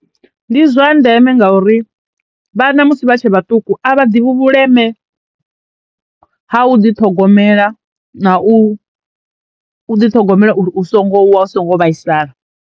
Ndi zwa ndeme ngauri vhana musi vha tshe vhaṱuku a vha ḓi vhuleme ha u ḓi ṱhogomela na u u ḓi ṱhogomela uri u songo wa, u songo vhaisala.